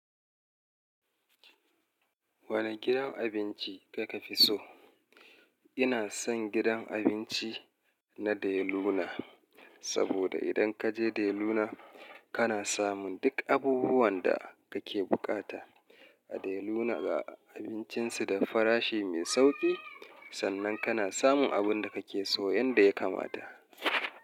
Wane gidan abinci kaka fi so? Ina son gidan abinci na De Luna. Saboda idan ka je De Luna, kana samun duk abubuwan da kake bukata. A De Luna, ga abincinsu da farashi mai sauƙi sannan kana samun abin da kake so yanda ya kamata.